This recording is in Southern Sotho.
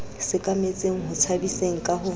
sekametseng ho tshabiseng ka ho